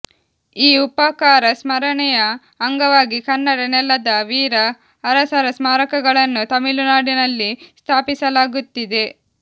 ಈ ಉಪಕಾರ ಸ್ಮರಣೆಯ ಅಂಗವಾಗಿ ಕನ್ನಡ ನೆಲದ ವೀರ ಅರಸರ ಸ್ಮಾರಕಗಳನ್ನು ತಮಿಳುನಾಡಿನಲ್ಲಿ ಸ್ಥಾಪಿಸಲಾಗುತ್ತಿದೆ